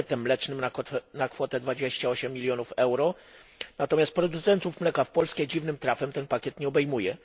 pakietem mlecznym na kwotę 28 mln EUR, natomiast producentów mleka w Polsce dziwnym trafem ten pakiet nie obejmuje.